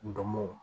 Ndomow